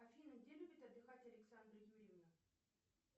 афина где любит отдыхать александра юрьевна